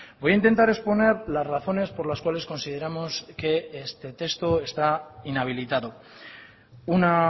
voy a intentar exponer las razones por las cuales consideramos que este texto está inhabilitado una